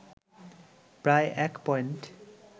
প্রায় ১ পয়েন্ট